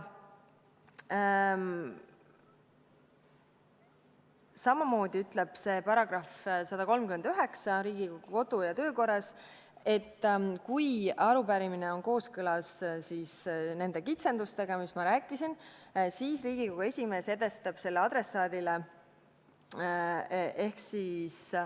Samamoodi ütleb Riigikogu kodu- ja töökorra seaduse § 139, et kui arupärimine on kooskõlas nende kitsendustega, millest ma rääkisin, siis Riigikogu esimees edastab selle adressaadile.